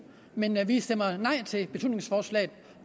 men vi stemmer nej til beslutningsforslaget